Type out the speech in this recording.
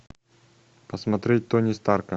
посмотреть тони старка